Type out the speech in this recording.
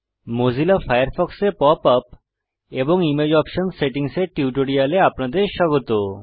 Mozilla ফায়ারফক্সে pop up এবং image option সেটিংসের টিউটোরিয়ালে আপনাদের স্বাগত